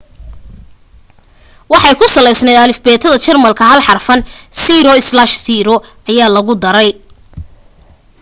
waxay ku salaysnayd alifbeetada jarmalka hal xarfan o/o ayaa lagu daray